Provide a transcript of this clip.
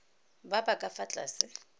ba ba ka fa tlase